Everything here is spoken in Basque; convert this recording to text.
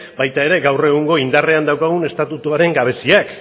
baita ere gaur egun indarrean daukagun estatutuaren gabeziak